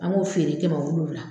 An k'o feere kɛmɛ wolonfila.